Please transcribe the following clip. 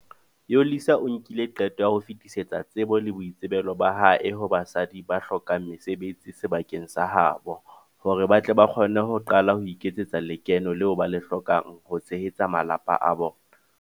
Yolisa o nkile qeto ya ho fetisetsa tsebo le boitsebelo ba hae ho basadi ba hlokang mesebetsi sebakeng sa ha bo, hore ba tle ba kgone ho qala ho iketsetsa lekeno leo ba le hlokang ho tshehetsa malapa a bona.